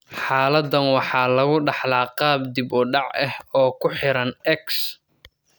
Xaaladdan waxaa lagu dhaxlaa qaab dib u dhac ah oo ku xiran X.